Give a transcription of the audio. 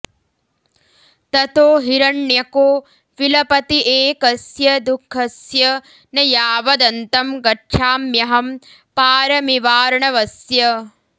ततो हिरण्यको विलपति एकस्य दुःखस्य न यावदन्तं गच्छाम्यहं पारमिवार्णवस्य